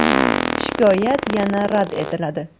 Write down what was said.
Shikoyat yana rad etiladi.